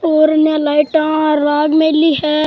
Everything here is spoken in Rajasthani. और इनने लाइटा राग मिली है।